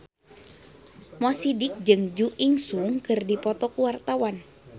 Mo Sidik jeung Jo In Sung keur dipoto ku wartawan